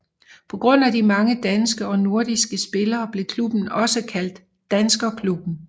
På grund af de mange danske og nordiske spillere blev klubben også kaldt Danskerklubben